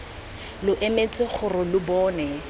lo emetse gore lo bone